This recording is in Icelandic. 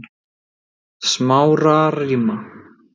Smárarima